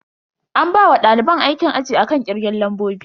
An bawa daliban aikin aji akan kirgen lambobi.